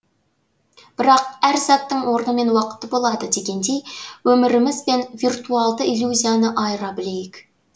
бірақ әр заттың орны мен уақыты болады дегендей өміріміз бен виртуалды иллюзияны айыра білейік